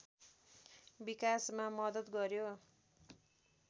विकासमा मद्दत गर्‍यो